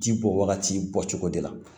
Ji bɔ wagati bɔ cogo de la